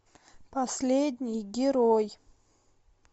последний герой